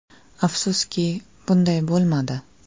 Afsuski, bunday bo‘lmadi.